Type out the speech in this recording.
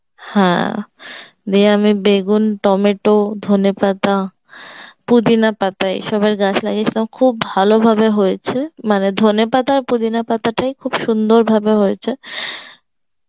হ্যাঁ দিয়ে আমি বেগুন টমেটো ধনেপাতা পুদিনা পাতা হিসাবের গাছ লাগিয়েছিলাম খুব ভালোভাবে হয়েছে মানে ধনেপাতা আর পুদিনা পাতা টাই খুব সুন্দর ভাবে হয়েছে